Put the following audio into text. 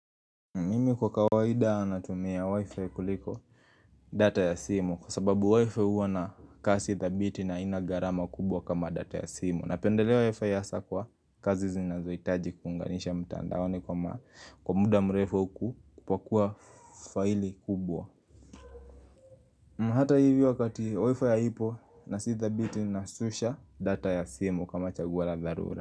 Mimi kwa kawaida natumia wifi kuliko data ya simu kwa sababu wifi huwa na kasi thabiti na haina gharama kubwa kama data ya simu. Napendelea wifi hasa kwa kazi zinazohitaji kuunganisha mtandaoni kwa muda mrefu kupakua faili kubwa. Na hata hivi wakati wifi haipo na sita thabiti nasusha data ya simu kama chaguo la dharura.